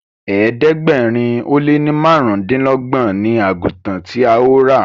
ẹ̀ẹ́dẹ̀gbẹ̀rin o lẹ ní márùndínlogbon ní àgùtàn tí a yóò rà.